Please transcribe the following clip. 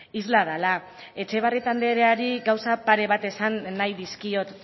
isla dela etxebarrieta andereari gauza pare bat esan nahi dizkiot